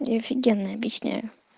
я офигенно объясняю